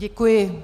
Děkuji.